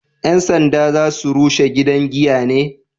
Yan sanda za su rushe gidan giya ne?